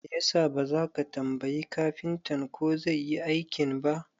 Me yasa baza ka tambayi kafintan ko zai Yi aikin ba?